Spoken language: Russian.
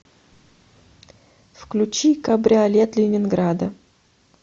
включи кабриолет ленинграда